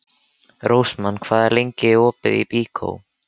Rósmann, hvað er lengi opið í Byko?